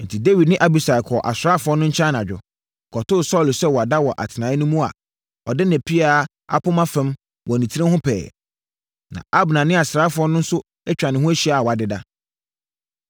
Enti, Dawid ne Abisai kɔɔ asraafoɔ no nkyɛn anadwo, kɔtoo Saulo sɛ wada wɔ atenaeɛ no mu a, ɔde ne pea apoma fam wɔ ne tiri ho pɛɛ. Na Abner ne asraafoɔ no nso atwa ne ho ahyia a wɔadeda.